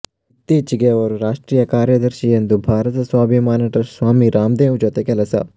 ಇತ್ತೀಚೆಗೆ ಅವರು ರಾಷ್ಟ್ರೀಯ ಕಾರ್ಯದರ್ಶಿ ಎಂದು ಭಾರತ ಸ್ವಾಭಿಮಾನ ಟ್ರಸ್ಟ್ ಸ್ವಾಮಿ ರಾಮ್ದೇವ್ ಜೊತೆ ಕೆಲಸ